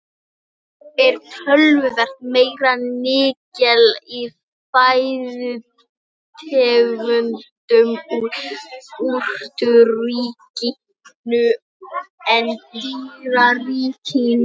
Yfirleitt er töluvert meira nikkel í fæðutegundum úr jurtaríkinu en dýraríkinu.